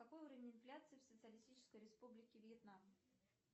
какой уровень инфляции в социалистической республике вьетнам